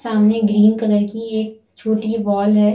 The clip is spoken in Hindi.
सामने ग्रीन कलर की एक छोटी वॉल है।